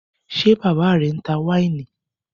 Ṣé bàbá rẹ ń ta wáìnì?